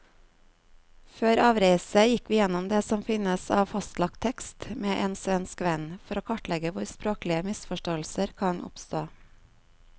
Før avreise gikk vi gjennom det som finnes av fastlagt tekst med en svensk venn, for å kartlegge hvor språklige misforståelser kan oppstå.